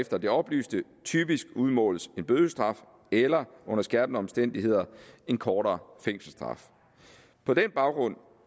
efter det oplyste typisk udmåles en bødestraf eller under skærpende omstændigheder en kortere fængselsstraf på den baggrund